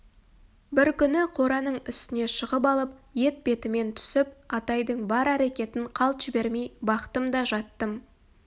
бір күні кораның үстіне шығып алып етбетімнен түсіп атайдың бар әрекетін қалт жібермей бақтым да жаттым